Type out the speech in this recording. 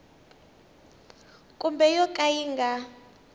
kumbe yo ka yi nga